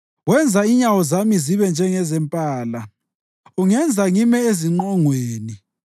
Wenza inyawo zami zibe njengezempala; ungenza ngime ezingqongweni